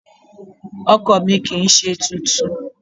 Ọkọ̀ mi kì ń ṣe tuntun.